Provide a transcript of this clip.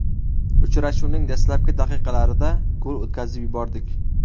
Uchrashuvning dastlabki daqiqalarida gol o‘tkazib yubordik.